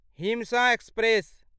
हिमसँ express